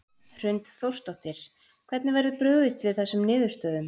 Hrund Þórsdóttir: Hvernig verður brugðist við þessum niðurstöðum?